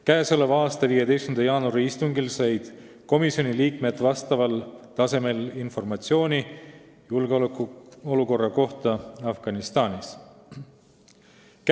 Käesoleva aasta 15. jaanuari istungil said komisjoni liikmed vastaval tasemel informatsiooni julgeolekuolukorra kohta Afganistanis.